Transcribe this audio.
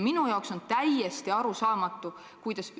Minu jaoks on täiesti arusaamatu, kuidas ...